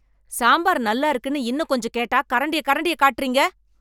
சாம்பார் நல்லா இருக்குன்னு இன்னும் கொஞ்சம் கேட்டா கரண்டியக் கரண்டிய காட்றீங்க